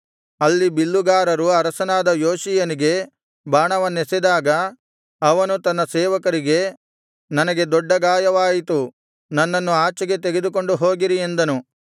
ಅಲ್ಲಿ ಬಿಲ್ಲುಗಾರರು ಅರಸನಾದ ಯೋಷೀಯನಿಗೆ ಬಾಣವನ್ನೆಸೆದಾಗ ಅವನು ತನ್ನ ಸೇವಕರಿಗೆ ನನಗೆ ದೊಡ್ಡ ಗಾಯವಾಯಿತು ನನ್ನನ್ನು ಆಚೆಗೆ ತೆಗೆದುಕೊಂಡು ಹೋಗಿರಿ ಎಂದನು